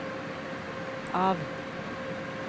av